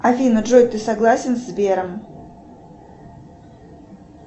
афина джой ты согласен с сбером